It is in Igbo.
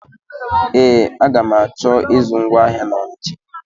Ee, aga m achọ ịzụ ngwa ahịa na Ọnisha.